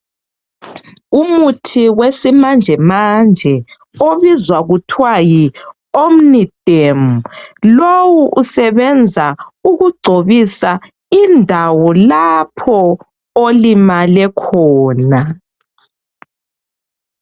Umuthi wesimanjemanje obizwa kuthiwa yi omniderm. Lowu usebenza ukugcobisa indawo lapho olimale khona.